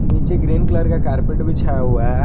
नीचे green colour का carpet बिछाया हुआ है।